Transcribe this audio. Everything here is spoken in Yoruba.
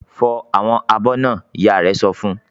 "Fọ àwọn abọ́ náà!" Ìyá rẹ̀ sọ fún wọn.